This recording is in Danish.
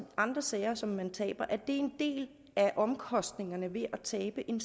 andre sager som man taber at det en del af omkostningerne ved at tabe en